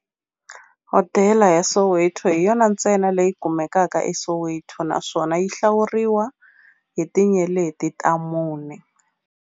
Hodela ya Soweto hi yona ntsena leyi kumekaka eSoweto, naswona yi hlawuriwa hi tinyeleti ta mune.